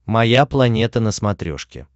моя планета на смотрешке